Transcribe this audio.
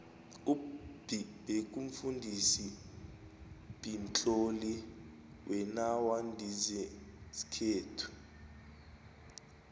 up b bekumfudisi beamtloli wenawandizesikhethu